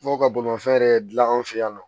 Dɔw ka bolimafɛn yɛrɛ dilan an fɛ yan nɔ